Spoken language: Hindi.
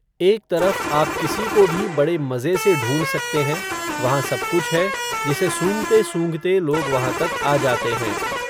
एक तरफ़ आप किसी को भी बड़े मज़े से ढ़ूंढ़ सकते हैं, वहां सब कुछ है, जिसे सूंघते सूंघते लोग वहां तक आ जाते हैं